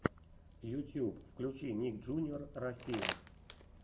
ютьюб включи ник джуниор россия